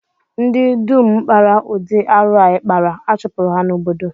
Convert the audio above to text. Ndi dum kpara ụdị arụ a ị kpara, a chụpụrụ ha n'obodo